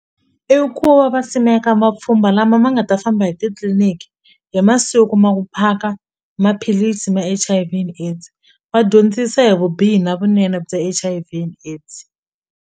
I ku va va simeka mapfhumba lama ma nga ta famba hi titliliniki hi masiku ma ku phaka maphilisi ma-H_I_V and AIDS va dyondzisa hi vubihi na vunene bya H_I_V and AIDS.